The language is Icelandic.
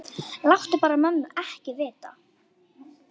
Láttu bara ekki mömmu vita.